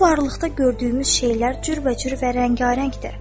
Bu varlıqda gördüyümüz şeylər cürbəcür və rəngarəngdir.